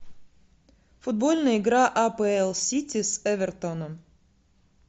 футбольная игра апл сити с эвертоном